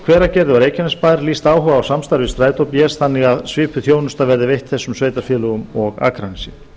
hveragerði og reykjanesbær lýst áhuga á samstarfi við strætó bs þannig að svipuð þjónusta verði veitt þessum sveitarfélögum og akranesi